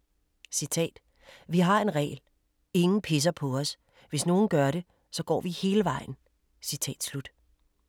”Vi har en regel. Ingen pisser på os. Hvis nogen gør det, så går vi hele vejen."